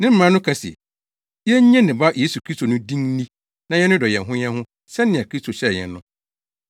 Ne mmara no ka se, yennye ne Ba Yesu Kristo no din nni na yɛnnodɔ yɛn ho yɛn ho sɛnea Kristo hyɛɛ yɛn no.